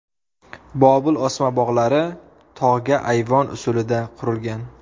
Bobil osma bog‘lari tog‘ga ayvon usulida qurilgan.